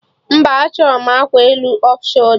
Mba, achọrọ m akwa elu off sholda